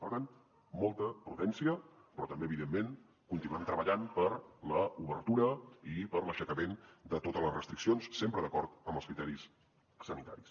per tant molta prudència però també evidentment continuem treballant per l’obertura i per l’aixecament de totes les restriccions sempre d’acord amb els criteris sanitaris